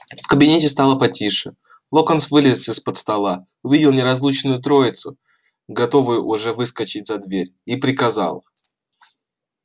в кабинете стало потише локонс вылез из-под стола увидел неразлучную троицу готовую уже выскочить за дверь и приказал